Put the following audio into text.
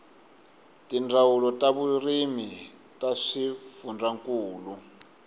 tindzawulo ta vurimi ta swifundzankulu